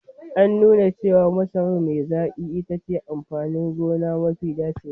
An nuna cewa masarar me zaƙi itace amfanin gona mafi dacewa.